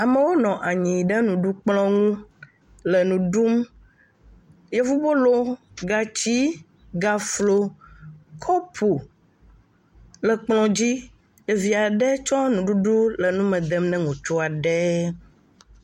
Amewo nɔ anyi ɖe nuɖukplɔ̃ ŋu le nu ɖum. Yevubolo, gati, gaflo, kɔpu le kplɔ̃ dzi. Ɖevi aɖe tsɔ nuɖuɖu le nu me dem ne ŋutsu aɖe.